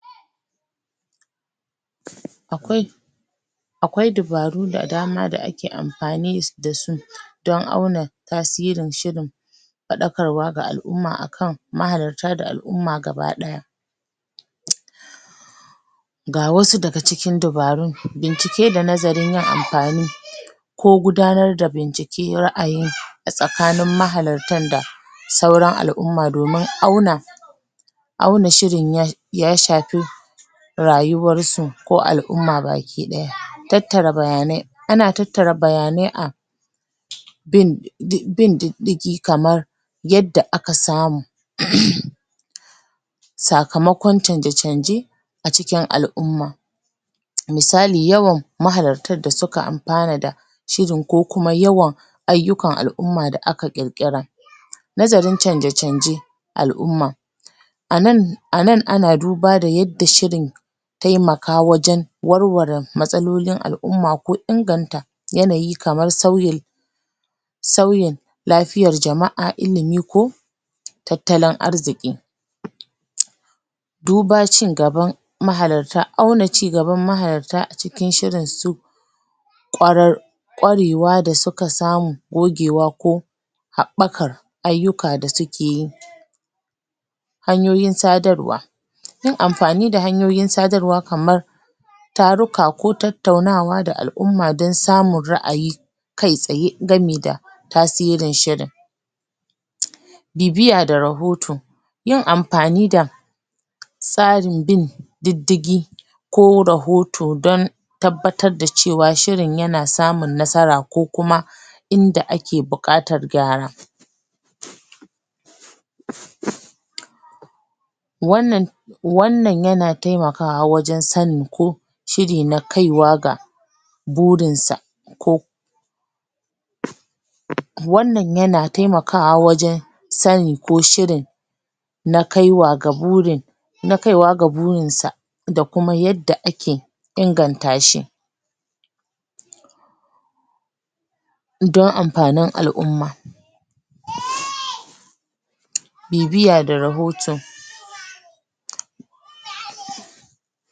Akwai Akwai dabaru da dama da ake amfani da su don auna tasirin shirin faɗakarwa ga al'umma akan mahalarta da al'umma gabadaya. Ga wasu daga cikin dabarun, bincike da nazarin yin amfani ko gudanar da bincike ra'ayi a tsakanin mahalartar da sauran al'umma domin auna auna shirin ya shafi rayuwar su ko al'umma baki ɗaya. Tattara bayanai, ana tattara bayanai a bin diddigi kaman yanda aka samu sakamakon chanje-chanje a cikin al'umma misali yawan mahalartar da suka amfana da shirin ko kuma yawan ayyukan al'umma da aka ƙirƙira Nazarin chanje-chanje al'umma a nan ana duba yanda shirin taimaka wajen warware matsalolin al'umma ko inganta yanayi kaman sauyin sauyin lafiyar jama'a ko tattalin arziki. duba cin gaban mahalarta, auna cigaban mahalarta a cikin shirin sau kwarar kwarewa da suka samu, gogewa ko haɓɓakar ayyuka da suke yi hanyoyin sadarwa yin amfani da hanyoyin sadarwa kaman taruka ko tattaunawa da al'umma don samun ra'ayi kai tsaye gami da tasirin shirin bibiya da rahoto yin amfani da tsarin bin diddigi ko rahoto don tabbatar da cewa shirin yana samun nasara ko kuma inda ake buƙatar gyara wannan yana taimakawa wajen sanin ko shirin na kaiwa ga burin sa ko wannan yana taimakawa wajen sani ko shirin na kaiwa ga burin na kaiwa ga burin sa da kuma yadda ake inganta shi don amfanin al'umma bibiya da rahoto